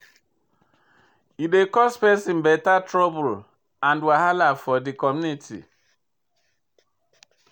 E dey cause pesin beta trouble and wahala for de community.